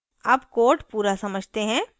अब code पूरा समझते हैं